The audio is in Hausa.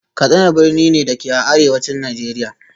Katsina birni ne, da ke a Arewacin Najeriya